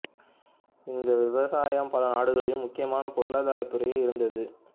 இந்த விவசாயம் பல நாடுகளிலும் முக்கியமான பொருளாதாரத் துறையாக இருந்தது